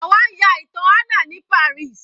Àwa ń ya ìtàn Anna ní Paris.